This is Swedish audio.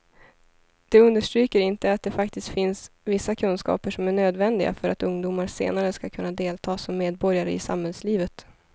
De understryker inte att det faktiskt finns vissa kunskaper som är nödvändiga för att ungdomar senare ska kunna delta som medborgare i samhällslivet.